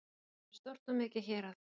Þetta er stórt og mikið hérað